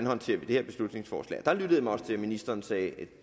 håndterer det her beslutningsforslag og der lyttede jeg mig også til at ministeren sagde at